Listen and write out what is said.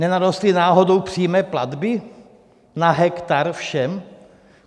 Nenarostly náhodou přímé platby na hektar všem?